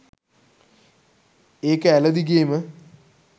ඒක ඇළ දිගේම